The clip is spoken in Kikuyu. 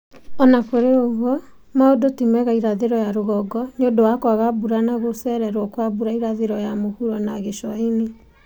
Ona kũrĩ ũguo maũndũ ti mega irathĩro ya rũgongo nĩũndũ wa kwaga mbura na gũcererwo kwa mbura irathiro ya mũhuro na gĩcua-inĩ